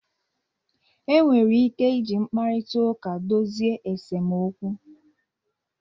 Enwere ike iji mkparita uka dozie esemokwu